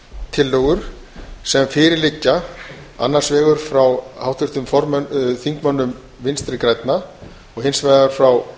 tillögur sem fyrir liggja annars vegar frá háttvirtum þingmönnum vinstri grænna og hins vegar frá